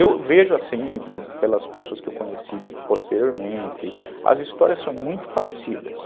Eu vejo assim, pelas pessoas que eu conheci posteriormente, as histórias são muito parecidas.